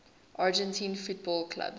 argentine football clubs